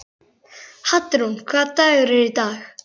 Hallrún, hvaða dagur er í dag?